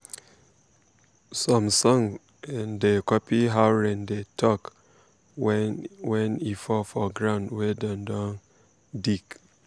some songs um da copy how rain dey talk wen wen e fall for ground wey dem don um dig.